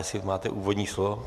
Jestli máte úvodní slovo?